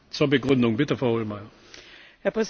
Herr Präsident, liebe Kolleginnen und Kollegen!